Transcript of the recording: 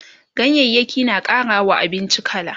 ganyayaki na ƙarawa abinci kala